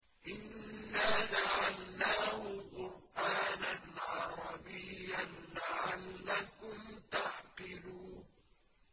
إِنَّا جَعَلْنَاهُ قُرْآنًا عَرَبِيًّا لَّعَلَّكُمْ تَعْقِلُونَ